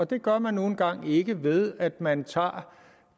det gør man nu engang ikke ved at man tager